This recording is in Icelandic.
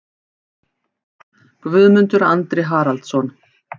Guðmundur Andri Haraldsson